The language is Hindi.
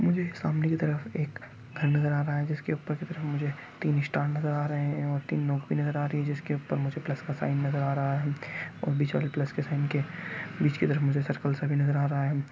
मझे एक सामने की तरफ एक घर नज़र आ रहा है जिसके ऊपर कुछ मझे तीन स्टार नज़र आ रहे है और तीन नोक बी नज़र आ रही है जिसके ऊपर मझे प्लस का नज़र आ रहा है और बीच वाले प्लस के साईन के बीच की तरफ मझे सर्किल सा भी नज़र आ रहा है।